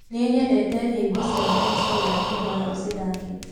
nie nyendete nyĩmbo cĩa bensoul ndakũhoya ucithake